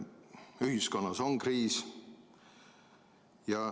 Ühiskonnas on kriis.